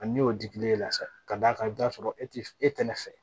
A ni n'o dilen la sa ka d'a kan i bɛ t'a sɔrɔ e tɛ e kɛnɛ fɛ